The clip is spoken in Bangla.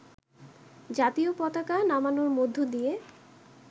জাতীয় পতাকা নামানোর মধ্য দিয়ে